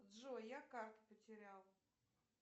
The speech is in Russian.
джой я карту потерял